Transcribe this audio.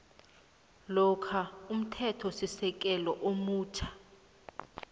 lokha umthethosisekelo omutjha